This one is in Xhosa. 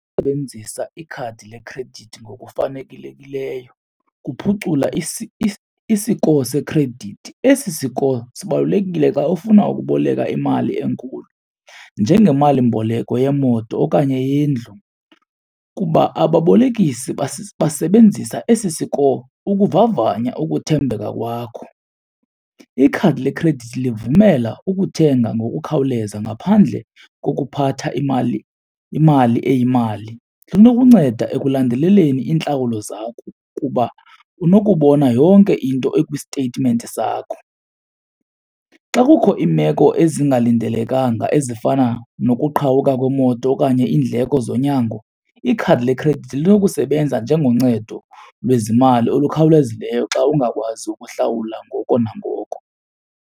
Sebenzisa ikhadi lekhredithi ngokufanelekileyo kuphucula i-score sekhredithi. Esi score sibalulekile xa ufuna ukuboleka imali enkulu njengemalimboleko yemoto okanye yendlu kuba ababolekisi basebenzisa esi siko ukuvavanya ukuthembeka kwakho. Ikhadi lekhredithi livumela ukuthenga ngokukhawuleza ngaphandle kokuphatha imali imali eyimali, linokunceda ekulandeleleni iintlawulo zakho kuba unokubona yonke into ekwistetimenti sakho. Xa kukho iimeko ezingalindelekanga ezifana nokuqhawuka kwemoto okanye iindleko zonyango, ikhadi lekhredithi linokusebenza njengoncedo lwezimali olukhawulezileyo xa ungakwazi ukuhlawula ngoko nangoko.